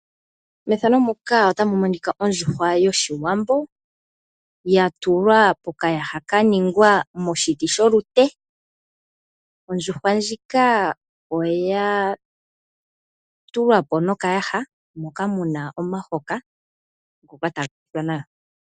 Ondjuhwa yoshiwambo yatulwa mokayaha kaningwa moshiti kolute. Ondjuhwa ohayi tulwapo mokayaha moka muna omuhoka ngoka hagu monika nawa.